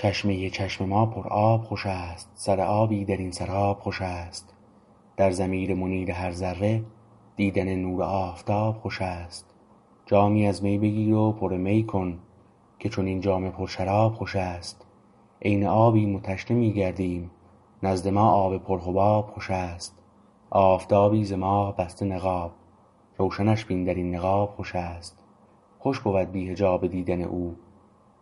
چشمه چشم ما پر آب خوش است سر آبی در این سراب خوش است در ضمیر منیر هر ذره دیدن نور آفتاب خوش است جامی از می بگیر و پر می کن که چنین جام پر شراب خوش است عین آبیم و تشنه می گردیم نزد ما آب پر حباب خوش است آفتابی ز ماه بسته نقاب روشنش بین در این نقاب خوش است خوش بود بی حجاب دیدن او